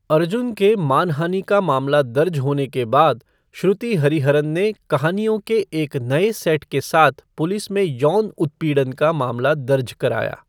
अर्जुन के मानहानि का मामला दर्ज होने के बाद, श्रुति हरिहरन ने कहानियों का एक नए सेट के साथ पुलिस में यौन उत्पीड़न का मामला दर्ज कराया।